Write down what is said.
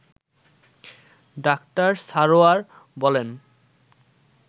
doctor Sarwar বলেন